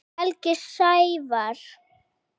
Helgi Sævar.